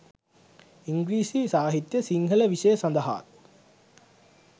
ඉංග්‍රීසි සාහිත්‍ය සිංහල විෂය සඳහාත්